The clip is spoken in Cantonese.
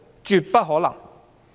絕不可能。